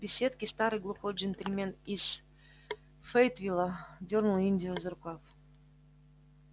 в беседке старый глухой джентльмен из фейетвилла дёрнул индию за рукав